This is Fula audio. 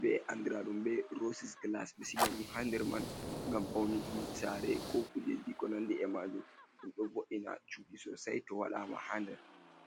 be andradum be rossis glass ɓeɗo sigadum ha nder man ngam pauniki sare ko kujeji ko nandi e majum ɗum ɗo bo’ina chuɗi sosai to waɗama haa nder.